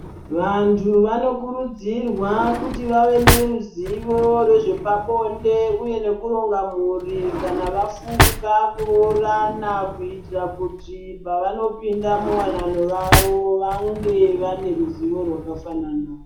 Vantu vanokurudzirwa kuti vave neruzivo rwezve pabonde uye neku ronga mhuri kana vafunga kurorana kutitira kuti pavano pinda mu wanano yavo vange vane ruzivo rwaka fanana.